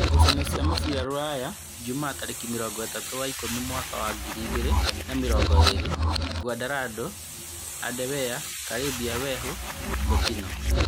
Ngucanio cia mũbira Ruraya Ijumaa tarĩki mĩrongo-ĩtatũ wa ikũmi mwaka wa ngirĩ igĩrĩ na mĩrongo ĩrĩ: Nguandaro, Andawea, Kariba, Wehu, Botino